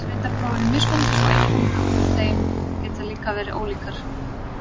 Greindarpróf eru mismunandi svo einkunnir úr þeim geta líka verið ólíkar.